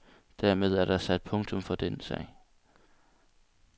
Dermed er der sat punktum for den sag.